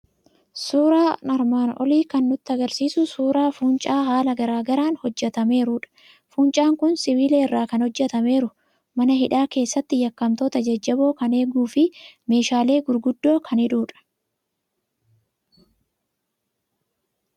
Suuraan armaan olii kan nutti argisiisu suuraa fuuncaa haala garaa garaan hojjetameerudha. Fuuncaan kun sibiila irraa kan hojjetameeru, mana hidhaa keessatti yakkamtoota jajjaboo kan eeguu fi meeshaalee gurguddoo kan hidhudha.